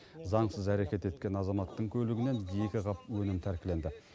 заңсыз әрекет еткен азаматтың көлігінен екі қап өнім тәркіленді